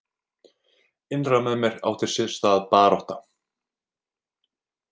Innra með mér átti sér stað barátta.